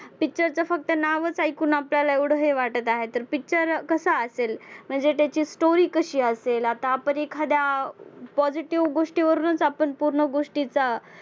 picture चं फक्त नावच ऐकून आपल्याला एवढं हे वाटत आहे तर picture कसा असेल? म्हणजे त्याची story कशी असेल आता आपण एखाद्या positive गोष्टीवरूनच आपण पूर्ण गोष्टीचा